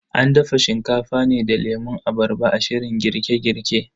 An dafa Shinkafa ne da lemun abarba a shirin girke girke.